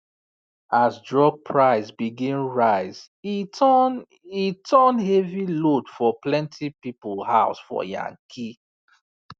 as drug price begin rise e turn e turn heavy load for plenty people house for yankee